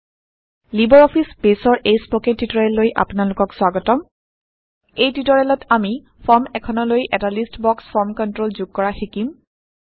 Libre Office বেইছৰ এই spoken টিউটৰিয়েললৈ আপোনাৰলোকক স্বাগতম এই টিউটৰিয়েলত আমি160 ফৰ্ম এখনৰলৈ এটা লিষ্ট বক্স ফৰ্ম কন্ট্ৰল যোগ কৰা শিকিম